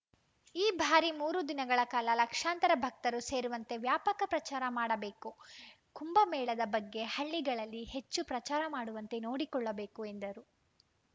ಈ ಬಾರಿ ಮೂರು ದಿನಗಳ ಕಾಲ ಲಕ್ಷಾಂತರ ಭಕ್ತರು ಸೇರುವಂತೆ ವ್ಯಾಪಕ ಪ್ರಚಾರ ಮಾಡಬೇಕು ಕುಂಭಮೇಳದ ಬಗ್ಗೆ ಹಳ್ಳಿಗಳಲ್ಲಿ ಹೆಚ್ಚು ಪ್ರಚಾರ ಮಾಡುವಂತೆ ನೋಡಿಕೊಳ್ಳಬೇಕು ಎಂದರು